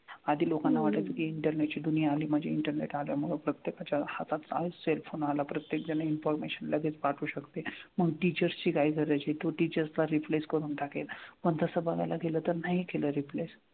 आधी लोकांना वाटायचं की internet ची दुनिया आली म्हणजे internet आल्यामुळं प्रत्येकाच्या हातात cell phone आला. प्रत्येकजण हे information लगेच पाठवू शकते. मग teachers ची काय गरज आहे. तो teachers ना replace करून टाकेल. पण तसं बघायला गेलं तर नाही केलं replace.